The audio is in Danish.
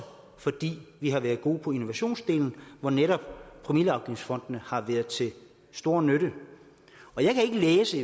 fordi vi har været gode på innovationsdelen hvor netop promilleafgiftsfondene har været til stor nytte jeg kan ikke læse